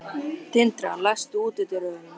Tildra, læstu útidyrunum.